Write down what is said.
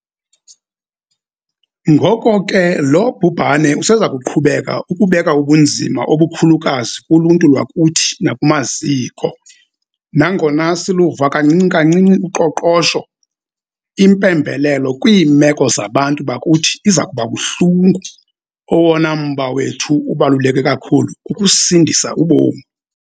Ngoko ke lo bhubhane useza kuqhubeka ukubeka ubunzima obukhulukazi kuluntu lwakuthi nakumaziko. Nangona siluvula kancinci-kancinci uqoqosho, impembelelo kwiimeko zabantu bakuthi iza kuba buhlungu. Owona mba wethu ubaluleke kakhulu kukusindisa ubomi.